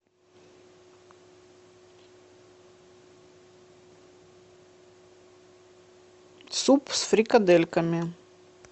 суп с фрикадельками